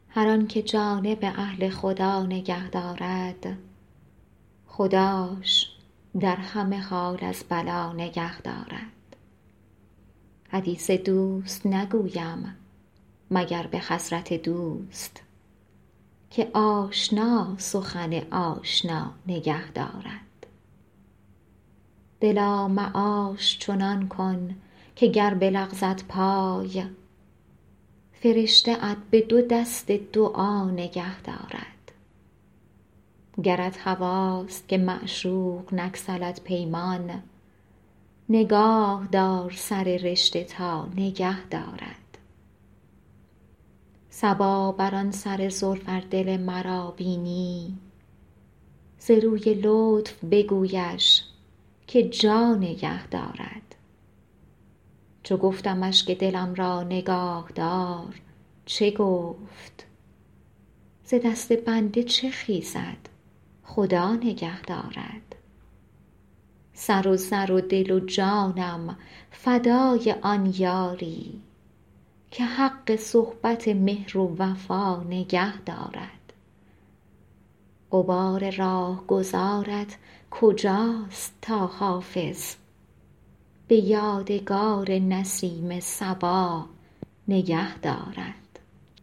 هر آن که جانب اهل خدا نگه دارد خداش در همه حال از بلا نگه دارد حدیث دوست نگویم مگر به حضرت دوست که آشنا سخن آشنا نگه دارد دلا معاش چنان کن که گر بلغزد پای فرشته ات به دو دست دعا نگه دارد گرت هواست که معشوق نگسلد پیمان نگاه دار سر رشته تا نگه دارد صبا بر آن سر زلف ار دل مرا بینی ز روی لطف بگویش که جا نگه دارد چو گفتمش که دلم را نگاه دار چه گفت ز دست بنده چه خیزد خدا نگه دارد سر و زر و دل و جانم فدای آن یاری که حق صحبت مهر و وفا نگه دارد غبار راهگذارت کجاست تا حافظ به یادگار نسیم صبا نگه دارد